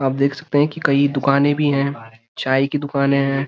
आप देख सकते हैं कि कई दुकाने भी हैं चाय की दुकान हैं।